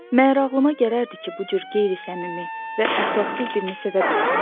Məyər ağlıma gələrdi ki, bu cür qeyri-səmimi və əxlaqsız birini sevə bilərəm?